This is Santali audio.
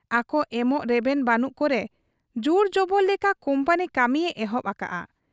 ᱟᱠᱚ ᱮᱢᱚᱜ ᱨᱮᱵᱮᱱ ᱵᱟᱹᱱᱩᱜ ᱠᱚᱨᱮ ᱡᱩᱨᱡᱚᱵᱚᱨ ᱞᱮᱠᱟ ᱠᱩᱢᱯᱟᱹᱱᱤ ᱠᱟᱹᱢᱤᱭᱮ ᱮᱦᱚᱵ ᱟᱠᱟᱜ ᱟ ᱾